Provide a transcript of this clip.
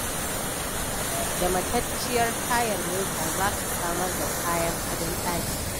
Da matacciyar tayar mota za ka samar da kayan adon ɗaki